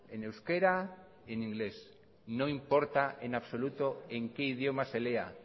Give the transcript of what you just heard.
en euskera y en inglés no importa en absoluto en qué idioma se lea